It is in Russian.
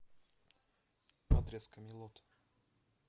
адрес камелот